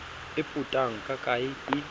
e potang ka kae ee